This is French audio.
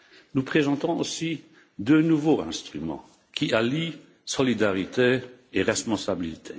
Nous présentons aussi deux nouveaux instruments qui allient solidarité et responsabilité.